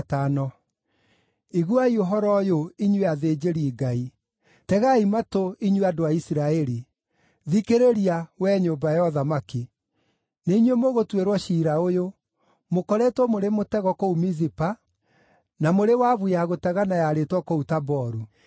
“Iguai ũhoro ũyũ, inyuĩ athĩnjĩri-Ngai! Tegai matũ, inyuĩ andũ a Isiraeli! Thikĩrĩria, wee nyũmba ya ũthamaki! Nĩ inyuĩ mũgũtuĩrwo ciira ũyũ: Mũkoretwo mũrĩ mũtego kũu Mizipa, na mũrĩ wabu ya gũtegana yarĩtwo kũu Taboru.